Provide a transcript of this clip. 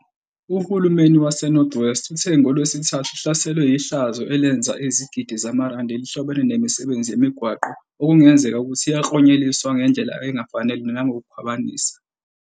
Uhulumeni waseNorth West uthe ngoLwesithathu uhlaselwe yihlazo elenza izigidi zamarandi elihlobene nemisebenzi yamigwaqo okungenzeka ukuthi yaklonyeliswa ngendlela engafanele nangokukhwabanisa.